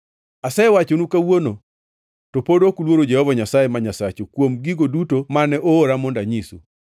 Asewachonu kawuono, to pod ok uluoro Jehova Nyasaye ma Nyasachu kuom gigo duto mane oora mondo anyisu.